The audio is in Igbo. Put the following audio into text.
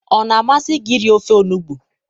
ọ na-amasị gị iri ofe onugbu?